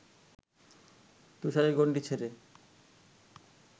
তুষারের গণ্ডি ছেড়ে